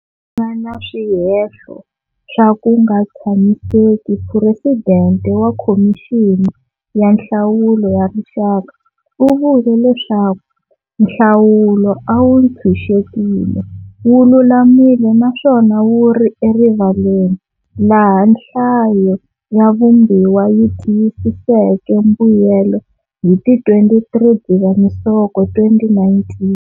Nga na swihehlo swa ku nga tshamiseki Phuresidente wa Khomixini ya Nhlawulo ya Rixaka u vule leswaku"nhlawulo a wu ntshunxekile, wu lulamile naswona wu ri erivaleni", laha Nhlayo ya Vumbiwa yi tiyisiseke mbuyelo hi ti 23 Dzivamisoko 2019.